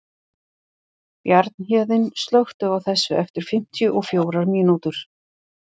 Bjarnhéðinn, slökktu á þessu eftir fimmtíu og fjórar mínútur.